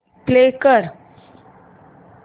play कर